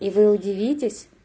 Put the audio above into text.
и вы удивитесь